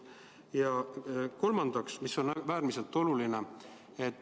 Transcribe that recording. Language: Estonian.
Ja kolmas asi, mis on äärmiselt oluline.